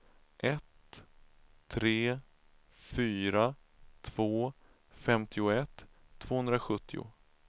ett tre fyra två femtioett tvåhundrasjuttio